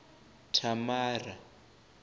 thamara